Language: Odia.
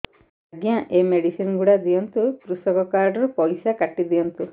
ଆଜ୍ଞା ଏ ମେଡିସିନ ଗୁଡା ଦିଅନ୍ତୁ କୃଷକ କାର୍ଡ ରୁ ପଇସା କାଟିଦିଅନ୍ତୁ